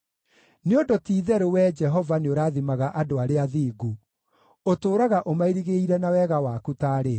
Nĩ ũndũ ti-itherũ Wee Jehova nĩũrathimaga andũ arĩa athingu; ũtũũraga ũmairigĩire na wega waku taarĩ ngo.